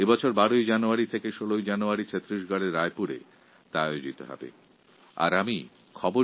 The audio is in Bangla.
এই বছর এই উৎসব ১২ই জানুয়ারি থেকে ১৬ই জানুয়ারি পর্যন্ত ছত্তিশগড়ের রায়পুরে অনুষ্ঠিত হতে চলেছে